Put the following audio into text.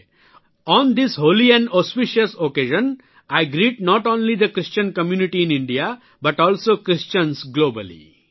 on the holy and auspicious occasion I greet not only the Christian community in India but also Christians globally